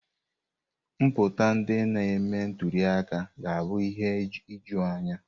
Nputa ndị na-eme ntuli aka ga abụ ihe ijuu anya.